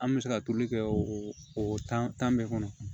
An bɛ se ka turu kɛ o tan tan bɛɛ kɔnɔ